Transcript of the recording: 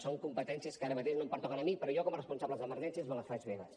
són competències que ara mateix no em pertoquen a mi però jo com a responsable d’emergències me les faig meves